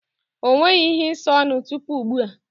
O nweghi ihe ịsa ọnụ tupu ugbu a.